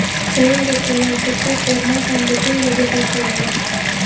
Shuningdek, universitetda forma ham butunlay bekor qilingan.